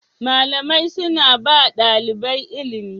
Malamai suna ba ɗalibai ilimi